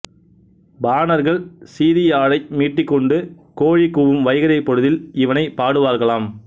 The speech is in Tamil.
பாணர்கள் சீறியாழை மீட்டிக்கொண்டு கோழி கூவும் வைகறைப் பொழுதில் இவனைப் பாடுவர்களாம்